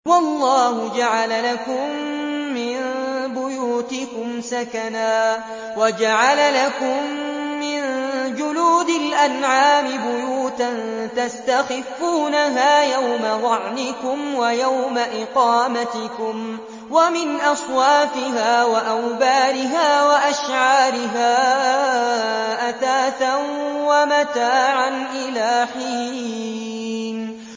وَاللَّهُ جَعَلَ لَكُم مِّن بُيُوتِكُمْ سَكَنًا وَجَعَلَ لَكُم مِّن جُلُودِ الْأَنْعَامِ بُيُوتًا تَسْتَخِفُّونَهَا يَوْمَ ظَعْنِكُمْ وَيَوْمَ إِقَامَتِكُمْ ۙ وَمِنْ أَصْوَافِهَا وَأَوْبَارِهَا وَأَشْعَارِهَا أَثَاثًا وَمَتَاعًا إِلَىٰ حِينٍ